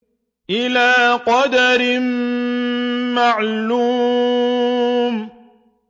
إِلَىٰ قَدَرٍ مَّعْلُومٍ